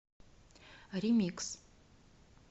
ремикс